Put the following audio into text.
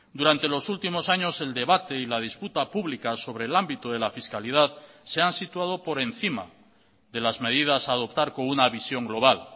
durante los últimos años el debate y la disputa pública sobre el ámbito de la fiscalidad se han situado por encima de las medidas a adoptar con una visión global